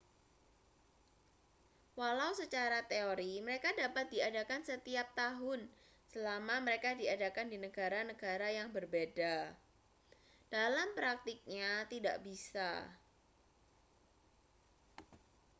walau secara teori mereka dapat diadakan setiap tahun selama mereka diadakan di negara-negara yang berbeda dalam praktiknya tidak bisa